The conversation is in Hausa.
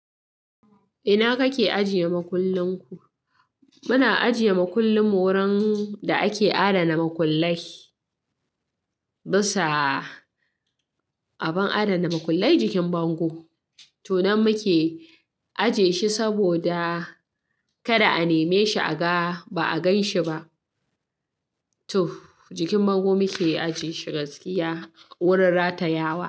Ina kake ajiye makullin ku? Muna ajiye makullin mu wurin da ake adana makullai. Bisa abin adana makullai jikin bango. Tunan muke ajiye shi saboda kada a neme shi a ga ba a ganshi ba. To jikin bango muke ajiye shi gaskiya wurin ratayawa.